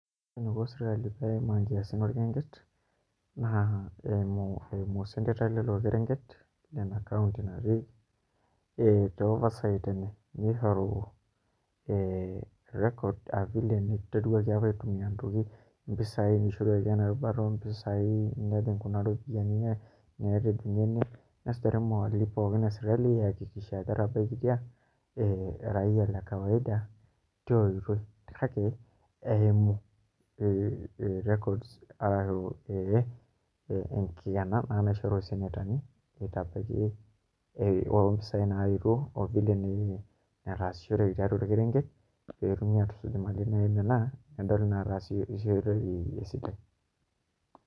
Ore eniko serkali pee eimaa nkiasin orkerenket naa eimu osenetai lilo kerenket lina kaunti natii ee te oversight enye pee ishoru ee records aa vile niteruaki apa aitumia ntokitin, mpisaai naishoruaki apa enaa erubata oompisaai, nesujari imali pooki e sirkali aiakikishia ajo etabaikitia ee raia le kawaida tia oitoi, kake eimu records ashu ee enkikena naa naishoru isenetani itabaiki oompisaai naaetuo o vile nataasishoreki tiatua orkerenket pee etumi aatusuj imali naimina nedoli inaataasishoreki esidai.